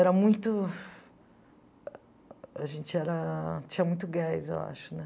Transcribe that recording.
Era muito... A gente era tinha muito gás, eu acho.